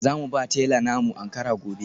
Za mu ba tela na mu Ankara gobe.